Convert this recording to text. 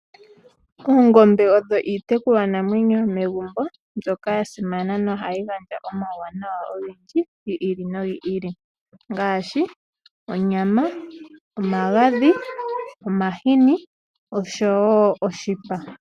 Oongombe odho iitekulwanamwenyo yomegumbo mbyoka ya simana nohayi gandja omauwanawa ogendji gi ili nogi ili ngaashi: onyama, omagadhi, omahini nosho wo oshipa.